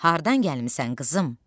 Hardan gəlmisən, qızım?